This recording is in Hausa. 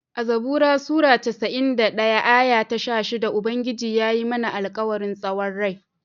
A'zabura sura casa'in da ɗaya aya ta sha shidda, Ubangiji yayi mana alkawarin tsawon rai.